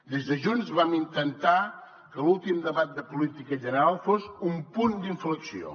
des de junts vam intentar que l’últim debat de política general fos un punt d’inflexió